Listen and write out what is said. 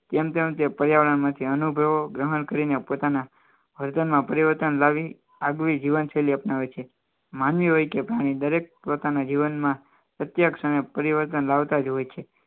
કેમ તેમ તે પર્યાવરણમાંથી અનુભવો ગ્રહણ કરીને પોતાના વર્તનમાં પરિવર્તન લાવી આગવી જીવનશૈલી અપનાવે છે માનવી હોય કે પાણી દરેક પોતાના જીવનમાં પ્રત્યક્ષ અને પરિવર્તન લાવતા જ હોય છે